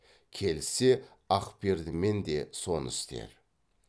келіссе ақпердімен де соны істе